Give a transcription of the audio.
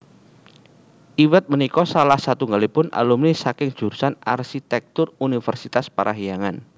Iwet punika salah setunggaling alumni saking jurusan Arsitèktur Univèrsitas Parahyangan